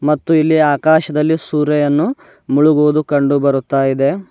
ಮತ್ತು ಇಲ್ಲಿ ಆಕಾಶದಲ್ಲಿ ಸೂರ್ಯನು ಮುಳುಗುವುದು ಕಂಡು ಬರುತ್ತ ಇದೆ.